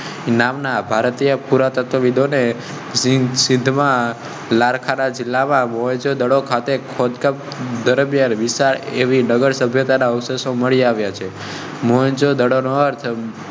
રમસની ભારતીય પુરાતત્વ સિંધમાં લારા જિલ્લા બાબો જો દડો ખાતે વિશાલ ભી નગર સભ્યતા અવશેષો મળી આવ્યા.